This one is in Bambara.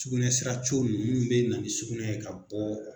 Cugunɛ sira nunnu munnu be na ni sugunɛ ye ka bɔɔ